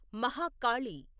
Mahakali